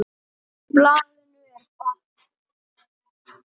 Á blaðinu er bakki.